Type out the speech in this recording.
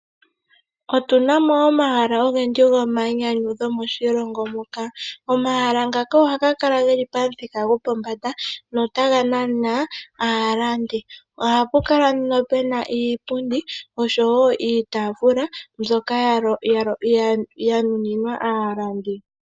Otunamo omahala ogendji gomayinyanyudho moshilongo muka. Omahala ngaka ohaga kala geli pamuthika gopombanda notaga nana aalandi. Ohapu kala nduno pena iipundi oshowo iitafuula mbyoka ya nuninwa aalandi.